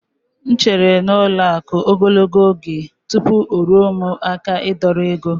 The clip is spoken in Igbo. M chere n'ụlọ akụ̀ ogologo oge tupu o ruo n'aka m ịdọrọ ego.